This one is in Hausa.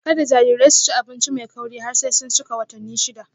Kada jarirai su ci abinci mai kauri har sai sun cika watanni shida.